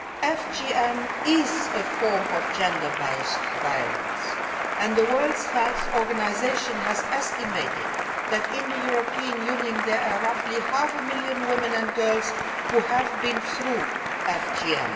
FGM is a form of gender based violence and the World Health Organisation has estimated that in the European Union there are roughly half a million women and girls who have been through